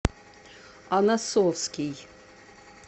оносовский